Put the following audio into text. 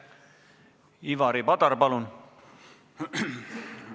Ivari Padar, palun!